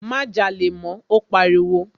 Má jalè mọ́, ó pariwo.